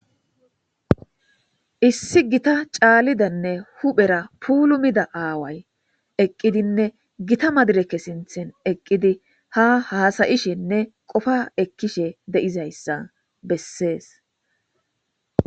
issi gita caalidanne huphera pulumida aaway eqqidinne gita madireke sinthen eqqidi ha haasayishinne qofa ekkishe deizayssa bessees